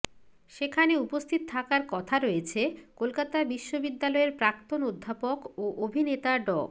সেখানে উপস্থিত থাকার কথা রয়েছে কলকাতা বিশ্ববিদ্যালয়ের প্রাক্তন অধ্যাপক ও অভিনেতা ড